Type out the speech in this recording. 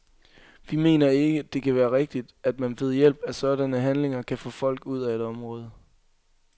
Vi mener ikke, at det kan være rigtigt, at man ved hjælp af sådanne handlinger kan få folk ud af et område.